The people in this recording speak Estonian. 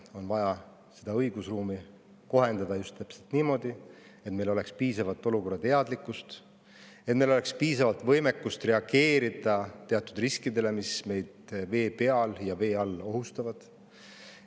On vaja õigusruumi kohendada just täpselt niimoodi, et meil oleks piisavalt olukorrateadlikkust, et meil oleks piisavalt võimekust reageerida teatud riskidele, mis meid vee peal ja vee all ohustavad.